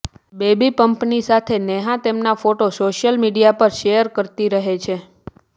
baby બંપની સાથે નેહા તેમના ફોટા સોશિયલ મીડિયા પર શેયર કરતી રહે છે